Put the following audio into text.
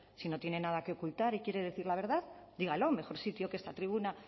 si no tiene nada que ocultar y quiere decir la verdad dígalo mejor sitio que esta tribuna